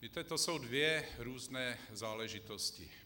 Víte, to jsou dvě různé záležitosti.